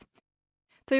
þau